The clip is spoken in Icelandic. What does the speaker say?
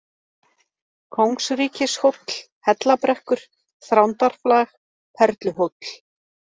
Kóngsríkishóll, Hellabrekkur, Þrándarflag, Perluhóll